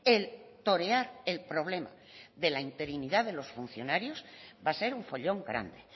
el torear el problema de la interinidad de los funcionarios va a ser un follón grande